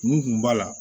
Mun kun b'a la